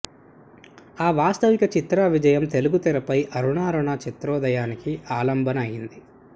ఆ వాస్తవిక చిత్ర విజయం తెలుగు తెరపై అరుణారుణ చిత్రోదయానికి ఆలంబన అయింది